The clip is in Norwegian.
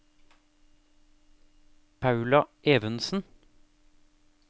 Paula Evensen